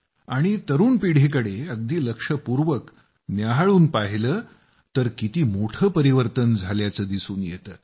आणि ज्यावेळी तरूण पिढीकडे अगदी लक्षपूर्वक न्याहाळून पाहिलं तर किती मोठं परिवर्तन झाल्याचं दिसून येत